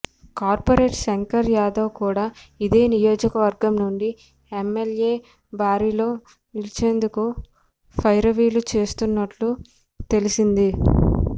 corporator Shankar Yadav కూడా ఇదే నియోజకవర్గం నుండి ఎమ్మె ల్యే బరిలో నిలిచేందుకు పైరవీలు చేస్తున్నట్లు తెలిసింది